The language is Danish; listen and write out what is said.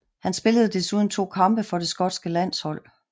Han spillede desuden to kampe for det skotske landshold